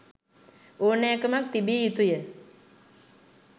ඕනෑකමක් තිබිය යුතුය.